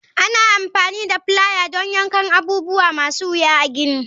Ana amfani da plier don yankan abubuwa masu wuya a gini.